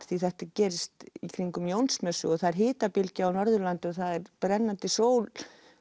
því þetta gerist í kringum Jónsmessu og það er hitabylgja á Norðurlandi og það er brennandi sól